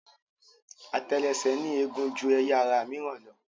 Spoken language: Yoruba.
Àtẹlẹsẹ̀ ní eegun ju ẹyà ara mìíràn lọ.